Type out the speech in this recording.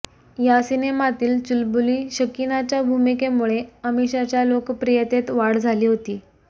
या सिनेमातील चुलबुली शकीनाच्या भूमिकेमुळे अमिषाच्या लोकप्रियतेत वाढ झाली होती